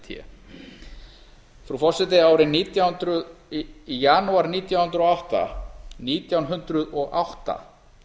vef evrópuráðsins wwwcoeint frú forseti í janúar nítján hundruð og átta nítján hundruð og átta